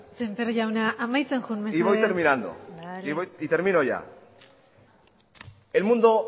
semper jauna amaitzen joan mesedez y voy terminando termino ya el mundo